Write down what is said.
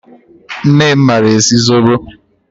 Nne m maara esi zobo